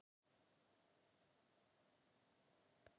Ég vissi alltaf að hann Alli yrði að manni, sagði mamma hans við ömmu.